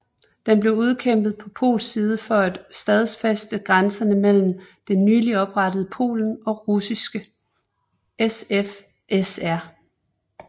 Den blev udkæmpet på polsk side for at stadfæste grænserne mellem det nyligt oprettede Polen og Russiske SFSR